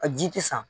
A ji ti san